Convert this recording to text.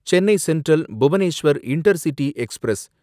Chennai central Bhubaneswar intercity express